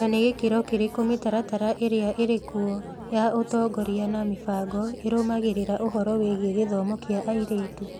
Nĩ na gĩkĩro kĩrĩkũ mĩtaratara ĩrĩa ĩrĩ kuo ya ũtongoria na mĩbango ĩrũmagĩrĩra ũhoro wĩgiĩ gĩthomo kĩa airĩtu?